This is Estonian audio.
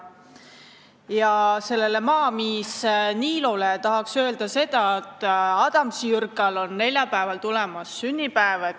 Ja maamiis Niilole tahaks öelda seda, et Adamsi Jürkal on neljapäeval sünnipäev tulemas.